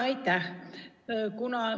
Aitäh!